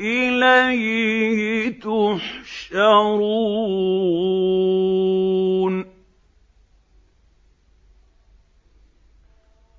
إِلَيْهِ تُحْشَرُونَ